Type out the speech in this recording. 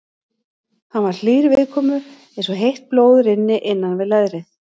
Hann var hlýr viðkomu eins og heitt blóð rynni innan við leðrið.